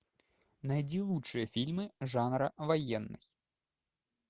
найди лучшие фильмы жанра военный